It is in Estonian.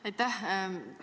Aitäh!